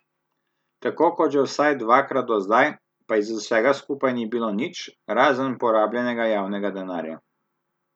Tako kot že vsaj dvakrat do zdaj, pa iz vsega skupaj ni bilo nič, razen porabljenega javnega denarja.